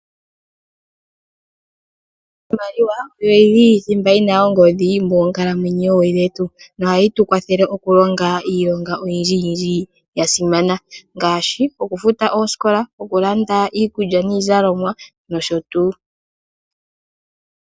Iimaliwa oyo yili thimba yina ongodhi moonkalamwenyo dhetu, nohayi tu kwathele oku longa iilonga oyindji ya simana, ngaashi okufuta oosikola, okulanda iikulya niizalomwa nosho tuu.